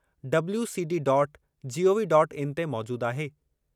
WCD dot gov dot in ते मौजूदु आहे।